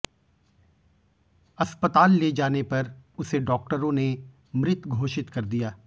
अस्पताल ले जाने पर उसे डाक्टरों ने मृत घोषित कर दिया